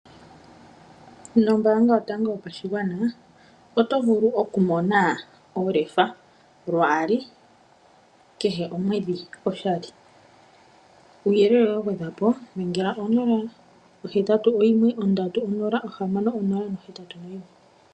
Nombaanga yotango yopashigwana oto vulu okumona olefa lwaali kehe omwedhi oshali. Kuuyelele wa gwedhwa po dhenga ko 081 306081.